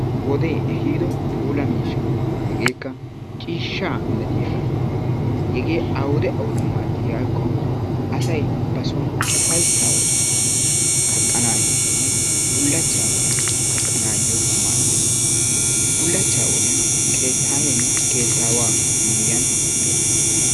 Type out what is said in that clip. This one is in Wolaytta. Wodee ehiido puula miishsha. Hegeekka ciishshaa milatiyagaa. Hegee awude awude maaddiyakko asay ba son ufayssaa wodiyan kaqqanaayoonne bullachchaa wodiyan kaqqanaayyo maaddees. Bullachchaa wodiyan keettayeenne keettaawaa miyyiyan uttees.